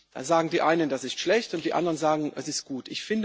Da sagen die einen, es ist schlecht, und die anderen sagen, es ist gut.